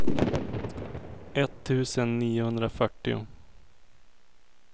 etttusen niohundrafyrtio